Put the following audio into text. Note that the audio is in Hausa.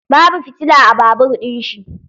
Babu fitila a babur ɗin shi.